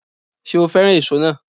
Ṣé o féràn èso náà